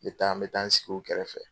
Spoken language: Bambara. N bɛ taa n bɛ taa n sigi u kɛrɛfɛ.